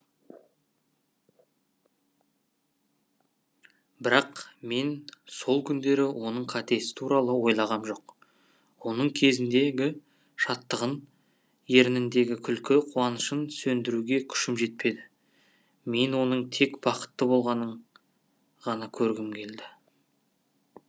бірақ мен сол күндері оның қатесі туралы ойлағам жоқ оның көзіндегі шаттығын ерніндегі күлкі қуанышын сөндіруге күшім жетпеді мен оның тек бақытты болғанын ғана көргім келді